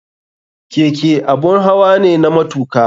Keke abun hawa ne na matuka.